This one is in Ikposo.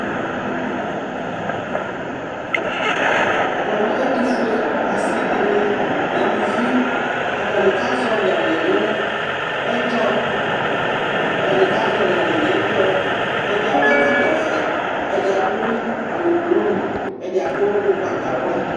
Namʋ ɛtufuɛ asi dini n'aluvi atani kazɔli alɛ nʋ ɛdzɔ, atani kazɔli alɛ n'ɛdzɔ, ɛdi akɔ ɛkɔtɔ vɛ, ɛdi adʋ awʋ blu, ɛdi adʋ ʋgbatawla